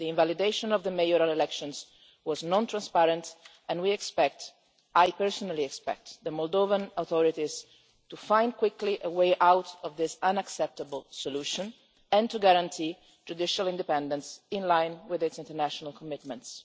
The invalidation of the mayoral elections was non transparent, and we expect I personally expect the Moldovan authorities quickly to find a way out of this unacceptable solution and to guarantee judicial independence, in line with Moldova's international commitments.